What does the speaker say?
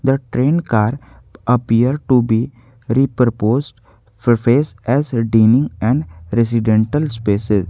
the train car appear to be re proposed surface as a daily and residential special.